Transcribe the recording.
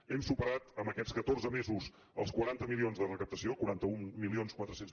hem superat en aquests catorze mesos els quaranta milions de recaptació quaranta mil quatre cents